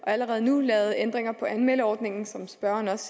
allerede nu lavet nogle ændringer af anmeldeordningen som spørgeren også